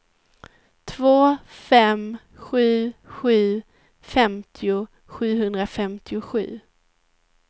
två fem sju sju femtio sjuhundrafemtiosju